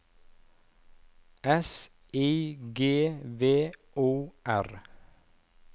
S I G V O R